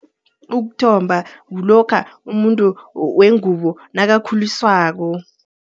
Ukuthomba, kulokha umuntu wengubo nakakhuliswako.